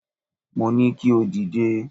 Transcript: Mo ní kí o dìde.